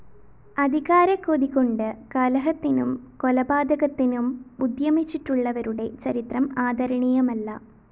അധികാരക്കൊതി കൊണ്ട് കലഹത്തിനും കൊലപാതകത്തിനും ഉദ്യമിച്ചിട്ടുള്ളവരുടെ ചരിത്രം ആദരണീയമല്ല